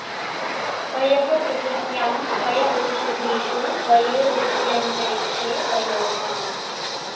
पयः॑ पृथि॒व्यां पय॒ ओष॑धीषु॒ पयो॑ दि॒व्य॑न्तरि॑क्षे॒ पयो॑ धाम्